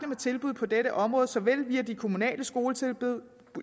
med tilbud på dette område såvel via de kommunale skoletilbud